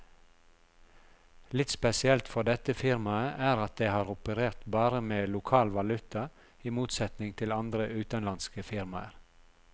Litt spesielt for dette firmaet er at det har operert bare med lokal valuta, i motsetning til andre utenlandske firmaer.